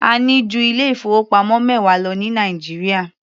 A ní ju ilé ìfowópamọ́ mẹwa lọ ní Nàìjíríà.